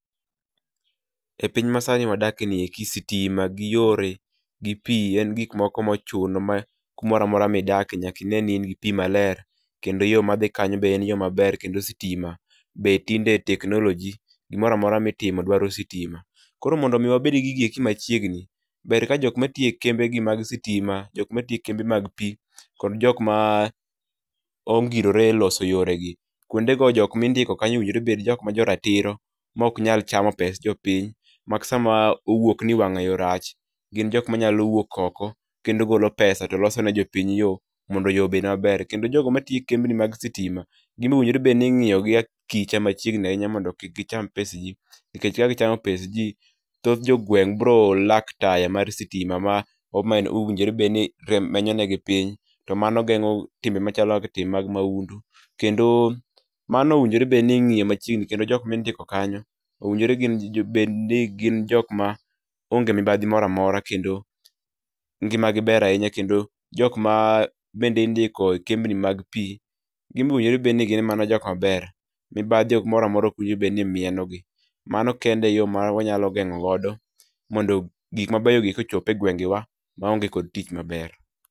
E piny masani ma wadake ni gi sitima gi yore, gi pii en gik moko ochuno ma kumoro amora midak nyaka ineni in gi pii maler kendo yoo madhi kanyo be en yoo maber kendo sitima be tinde teknoloji ,gimoro maora mitimo dwaro sitima. Koro mondo wabed gi gigi eki machiegni ber ka jok matiyo e kembe giek mag sitima, jokma tiyo e kembe mag pii kod jokma ongirore e yore lose gi kuondego jok mindiko kano owinjore obed jo ratiro maok nyalo chamo pes jopiny ma sama owuok ni wangayo rach, gin jokma nyalo wuok oko kendo golo pesa to loso ne jopiny yo mondo yoo mondo yoo obed maber. Kendo jogo matiyo e kembni mag sitima, gin owinjo obed ni ingiyogi akicha machiegni ahinya mondo kik gicham pes jii nikech ka gichamo pes jii ,thoth jogweng biro lack taya mar stima ma owinjore obedni menyo negi piny to mano gengo machalo kaka timbe mag maundu kendo mano owinjore bedni ingiyo machiegni kendo jok mindiko kanyo owinjo obed ni gin jok maonge mibadhi moro amora kendo ngimagi ber ahinya kendo jokma indiko e kembni mag pii ginbe owinjo obed ni gin jokma ber, mibadhi moro amora kik bed ni mienogi. Mano kende e yo ma wanyalo gengo godo mondo gik mabeyo gi kochop e gwengewa maonge kod tich maber